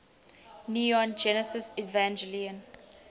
neon genesis evangelion